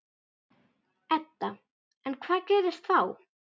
Edda: En hvað gerist þá?